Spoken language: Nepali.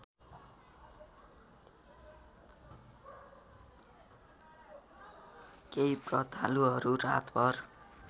केही ब्रतालुहरू रातभर